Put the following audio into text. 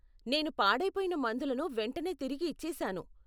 నేను పాడైపోయిన మందులను వెంటనే తిరిగి ఇచ్చేశాను.